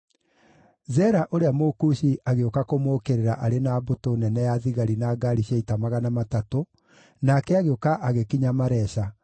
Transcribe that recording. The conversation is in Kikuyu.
Zera ũrĩa Mũkushi agĩũka kũmũũkĩrĩra arĩ na mbũtũ nene ya thigari na ngaari cia ita 300, nake agĩũka agĩkinya Maresha.